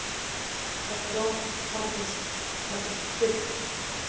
Það brot taldist fyrnt.